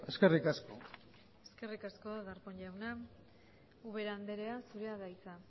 eskerrik asko eskerrik asko darpón jauna ubera anderea zurea da hitza